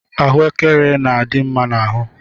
Ahuekere na adị mma n'ahụ.